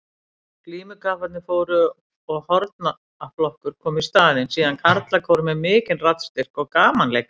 Glímukapparnir fóru og hornaflokkur kom í staðinn, síðan karlakór með mikinn raddstyrk og gamanleikari.